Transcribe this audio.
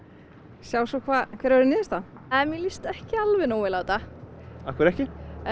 sjá svo hver verður niðurstaðan mér líst ekki alveg nógu vel á þetta af hverju ekki